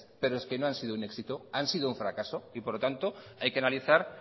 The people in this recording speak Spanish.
pero es que no ha sido un éxito han sido un fracaso y por lo tanto hay que analizar